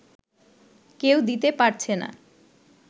কেউ দিতে পারছে না